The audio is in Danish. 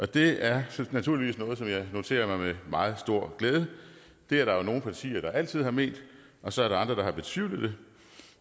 det er naturligvis noget som jeg noterer mig med meget stor glæde det er der jo nogle partier der altid har ment og så er der andre der har betvivlet det